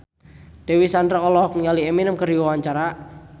Dewi Sandra olohok ningali Eminem keur diwawancara